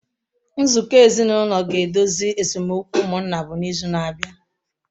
Nzukọ ezinụlọ ga-edozi esemokwu ụmụnna bụ n’izu na-abịa.